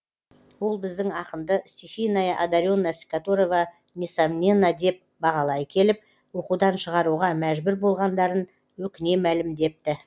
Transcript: ол біздің ақынды стихийная одаренность которого несомненна деп бағалай келіп оқудан шығаруға мәжбүр болғандарын өкіне мәлімдепті